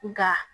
Nka